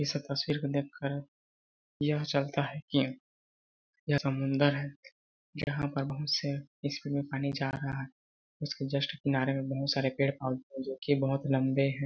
इस तस्वीर को देखकर यह चलता है की यह समुंदर है जहाँ पे बहुत से इसमें पानी जा रहा है उसके जस्ट किनारे में बहुत सारे पेड़ -पौधे जो कि बहोत लम्बे है। .